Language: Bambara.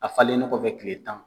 A falennen kɔfɛ tile tan.